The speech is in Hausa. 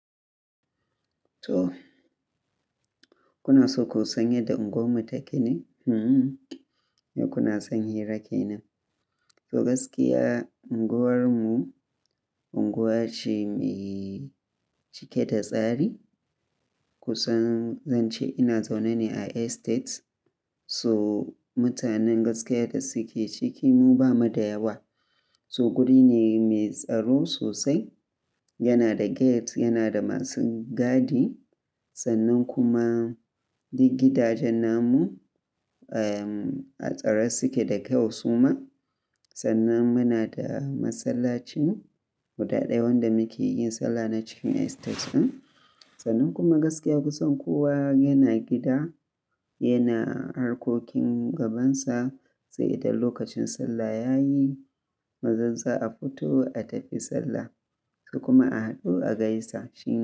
To, kuna so ku san yadda unguwarmu take ne? Eh, yau kuna son hira ke nan? To gaskiya unguwarmu unguwa ce mai cike da tsari. Ku san, zan ce ina zaune ne a estate. So mutanen gaskiya da suke ciki mu ba mu da yawa. To guri ne mai tsaro sosai, yana da gate, yana da masu gadi. Sannan kuma duk gidajen namu, eh, a tsare suke da kyau suma. Sannan muna da masallacin guda ɗaya wanda muke yin sallah na cikin estate ɗin. Sannan kuma gaskiya kusan kowa yana gida, yana harkokin gabansa. Sai idan lokacin sallah yayi mazan za a fito, a tafi sallah. Ko kuma a haɗu a gaisa shine.